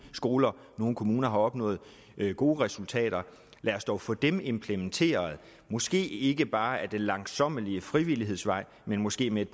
skoler nogle kommuner har opnået gode resultater lad os dog få dem implementeret måske ikke bare ad den langsommelige frivillighedens vej men måske med et